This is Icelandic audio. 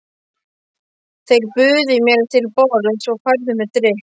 Þeir buðu mér til borðs og færðu mér drykk.